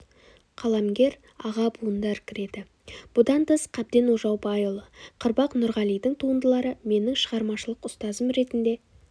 қаламгер аға буындар кіреді бұдан тыс қабден ожаубайұлы қырбақ нұрғалидың туындылары менің шығармашылық ұстазым ретінде